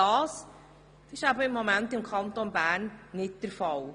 Das ist im Kanton Bern nicht der Fall.